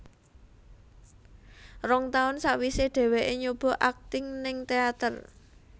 Rong taun sawisé dheweké nyoba akting ning teater